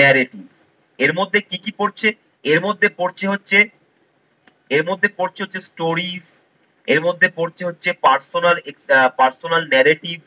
narrative এর মধ্যে কি কি পড়ছে? এর মধ্যে পড়ছে হচ্ছে, এরমধ্যে পরছে হচ্ছে stories এরমধ্যে পরছে হচ্ছে personal আহ personal narrative